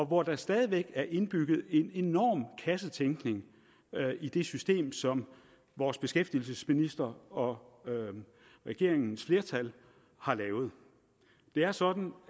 hvor der stadig væk er indbygget en enorm kassetænkning i det system som vores beskæftigelsesminister og regeringens flertal har lavet det er sådan